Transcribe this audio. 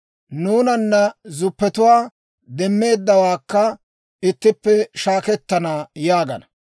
nuunanna zuppetuwan demmeeddawaakka ittippe gishettana» yaagana.